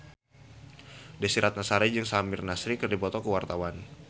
Desy Ratnasari jeung Samir Nasri keur dipoto ku wartawan